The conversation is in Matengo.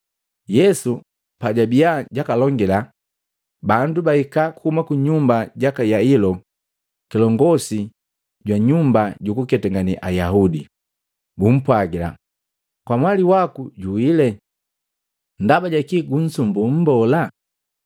Yesu pajabia jakoni jakalonge, bandu bahika kuhuma kunyumba jaka Yailo kilongosi jwa nyumba jukuketangane Ayaudi, bumpwagila, “Kamwali waku juwile. Ndaba jakii kunsumbu Mbola?”